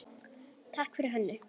Takk fyrir Hönnu.